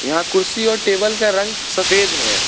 यहां कुर्सी और टेबल का रंग सफेद है।